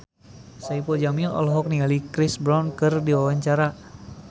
Saipul Jamil olohok ningali Chris Brown keur diwawancara